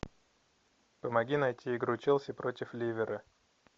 помоги найти игру челси против ливера